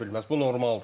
Bu normaldır.